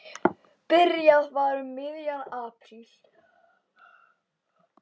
Byrjað var um miðjan apríl.